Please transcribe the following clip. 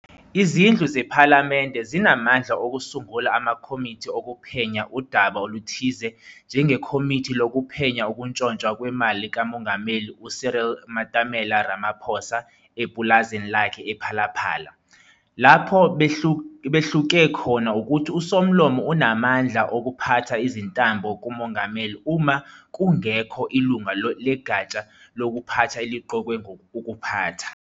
Izindlu zePhalamende zinamandla okusungula amakhomithi okuphenya udaba oluthize njengeKhomithi lokuPhenya ukutshontshwa kwemali kaMongameli uCyril Matamela Ramaphosa epulazini lakhe ePhala-Phala. Lapho behluke khona ukuthi uSomlomo unamandla okuphatha izintambo kuMongameli uma kungekhi ilunga legatsha lokuphatha eliqokwe ukuphatha.